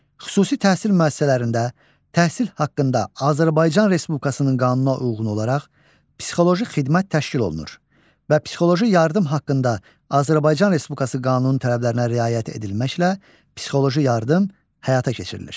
Xüsusi təhsil müəssisələrində təhsil haqqında Azərbaycan Respublikasının qanununa uyğun olaraq psixoloji xidmət təşkil olunur və psixoloji yardım haqqında Azərbaycan Respublikası qanununun tələblərinə riayət edilməklə psixoloji yardım həyata keçirilir.